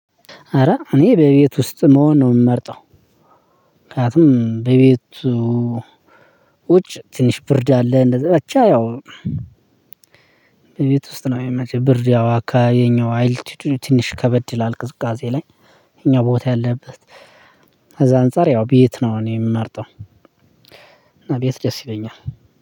ኧረ እኔ በቤት ውስጥ መሆንን ነው ምመርጠው። ምክንያቱም በቤቱ ውጭ ትንሽ ብርድ አለ። እንደዛ በቻ ያው ቤት ውስጥ ነው የሚመጣው ብርድ ያው አካባቢው አይልቲቲውዱ ትንሽ ከበድ ይላል ቅዝቃዜ ላይ። የኛው ቦታ ያለበት ከዛ አንፃር ያው ቤት ነው እኔ የምመርጠው። ቤት ደስ ይለኛል።